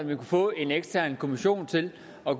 kan få en ekstern kommission til at